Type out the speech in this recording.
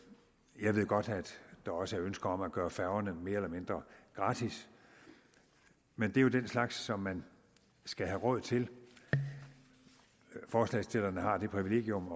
jeg ved godt at der også er ønsker om at gøre færgerne mere eller mindre gratis men det er jo den slags som man skal have råd til forslagsstillerne har det privilegium